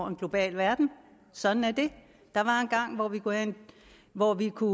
en global verden sådan er det der var engang hvor vi kunne